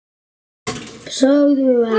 Sögðu ekkert.